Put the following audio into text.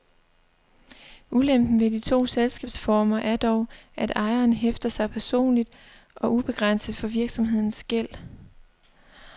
Ulempen ved de to selskabsformer er dog, at ejeren hæfter personligt og ubegrænset for virksomhedens gæld.